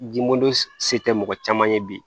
Dimodon se tɛ mɔgɔ caman ye bi